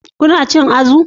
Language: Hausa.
Kuna cin azu?